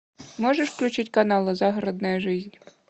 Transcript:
можешь включить канал загородная жизнь